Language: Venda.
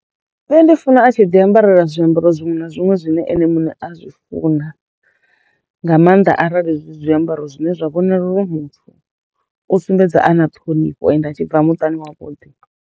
Nṋe ndi funa a tshi ḓi ambarela zwiambaro zwiṅwe na zwiṅwe zwine ene muṋe a zwi funa nga mannḓa arali zwi zwiambaro zwine zwa vhonala uri muthu u sumbedza a na ṱhonifho ende a tshi bva muṱani wa vhuḓi.